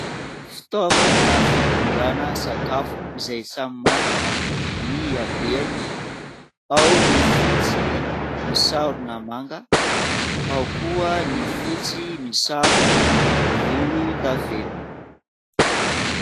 Fitaovana fitondrana sakafo izay samy manana ny habean,y ao ny fotsy misarona manga ao koa ny fotsy misarona volondavenona.